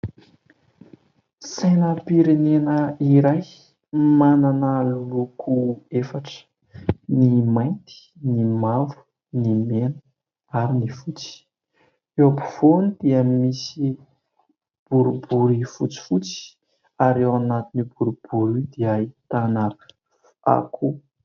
Sainam-pirenena iray manana loko efatra : ny mainty, ny mavo, ny mena ary ny fotsy. Eo am-povoany dia misy boribory fotsifotsy ary eo anatiny io boribory io dia ahitana akoho.